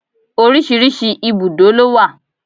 Oríṣiríṣi ibùdó ló wà.